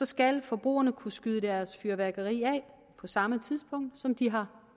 skal forbrugerne kunne skyde deres fyrværkeri af på samme tidspunkt som de har